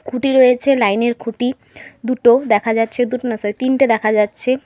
খুঁটি রয়েছে লাইনের খুঁটি দুটো দেখা যাচ্ছে দুটো না সরি তিনটে দেখা যাচ্ছে।